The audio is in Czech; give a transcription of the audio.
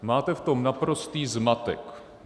Máte v tom naprostý zmatek.